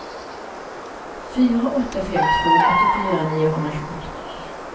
fyra åtta fem två åttiofyra niohundratjugotre